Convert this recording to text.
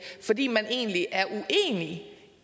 fordi man egentlig er uenig